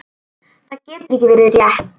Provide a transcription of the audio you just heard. Það getur ekki verið rétt.